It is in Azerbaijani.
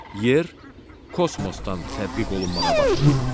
Yer kosmosdan tədqiq olunmağa başlayıb.